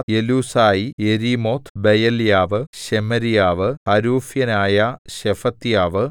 എലൂസായി യെരീമോത്ത് ബെയല്യാവ് ശെമര്യാവ് ഹരൂഫ്യനായ ശെഫത്യാവ്